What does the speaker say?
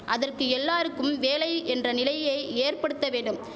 அதற்கு எல்லாருக்கும் வேலை என்ற நிலையை ஏற்படுத்த வேண்டும்